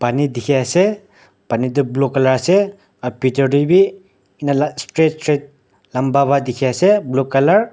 Pani dikhi ase pani toh blue colour ase aru bitor te bi enela straight straight lamba para dikhi ase blue colour .